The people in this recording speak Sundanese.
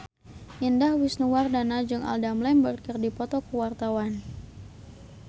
Indah Wisnuwardana jeung Adam Lambert keur dipoto ku wartawan